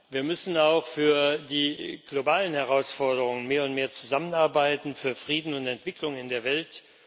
Wir müssen auch für die globalen Herausforderungen mehr und mehr zusammenarbeiten für Frieden und Entwicklung in der Welt.